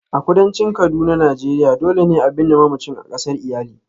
A kudancin kaduna Nigeria, dole ne a binne mamacin a kasar iyali.